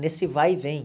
Nesse vai e vem.